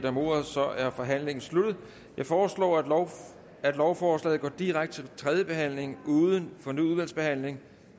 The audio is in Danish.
om ordet og så er forhandlingen sluttet jeg foreslår at at lovforslaget går direkte til tredje behandling uden fornyet udvalgsbehandling